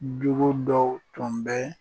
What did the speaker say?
Jugu dɔw tun bɛ